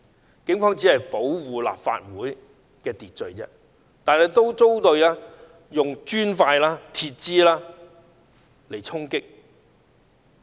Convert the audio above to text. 當時警方只是想保護立法會的安全和秩序，卻也遭到磚塊和鐵枝的衝擊。